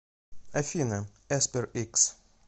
афина эспер икс